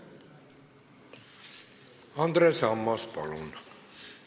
Andres Ammas, palun!